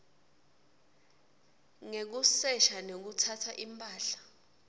ngekusesha nekutsatsa imphahla